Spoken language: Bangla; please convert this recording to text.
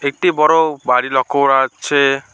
একটি বড় বাড়ি লক্ষ্য করা যাচ্ছে।